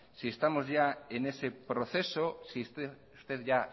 si estamos ya